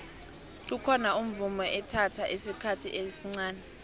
kukhona umvumo ethatha isikhathi esncani